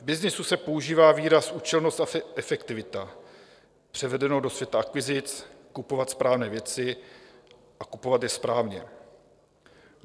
V byznysu se používá výraz účelnost a efektivita, převedeno do světa akvizic - kupovat správné věci a kupovat je správně.